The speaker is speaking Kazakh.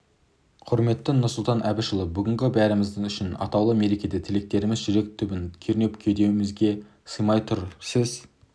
құрметті нұрсұлтан әбішұлы бүгінгі бәріміз үшін атаулы мерекеде тілектеріміз жүрек түбін кернеп кеудемізге сыймай тұр сіз